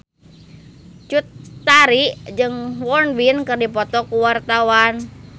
Cut Tari jeung Won Bin keur dipoto ku wartawan